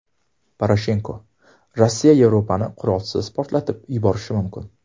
Poroshenko: Rossiya Yevropani qurolsiz portlatib yuborishi mumkin.